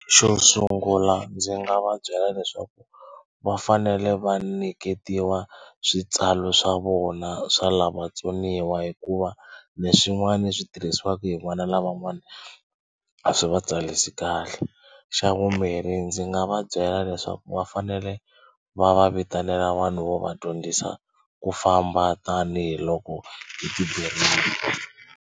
Xo sungula ndzi nga va byela leswaku va fanele va nyiketiwa switsalo swa vona swa la vatsoniwa hikuva le swin'wana swi tirhisiwaka hi n'wana lavan'wana a swi va tsarisi kahle. Xa vumbirhi ndzi nga va byela leswaku va fanele va va vitanela vanhu vo va dyondzisa ku famba tanihiloko hi .